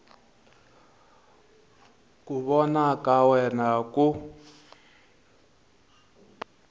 ku vona ka wena ku